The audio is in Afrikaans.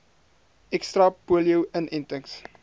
ekstra polio inentings